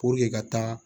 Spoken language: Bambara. Puruke ka taa